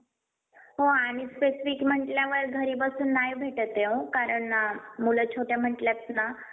त्यामुळे pipe टाकण्याचे काम अखंड सुरू राहण्याची शक्यता सूत्रांनी व्यक्त केली. head work साठी जायकवाडी धरणं approach bridge तयार करण्याचे काम देखील सुरू करण्यात आले आहे.